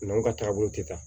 N'anw ka taabolo te taa